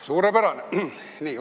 Suurepärane!